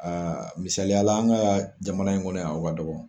Aa misaliya la, an ka jamana in kɔnɔ a ka dɔgɔ.